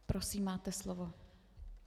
Prosím, máte slovo.